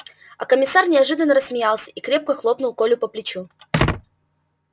а комиссар неожиданно рассмеялся и крепко хлопнул колю по плечу